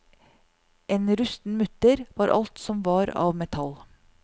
En rusten mutter var alt som var av metall.